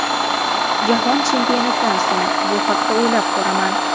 Jahon Chempionatidan so‘ng bu haqda o‘ylab ko‘raman.